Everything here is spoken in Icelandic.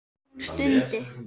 Hún stundi.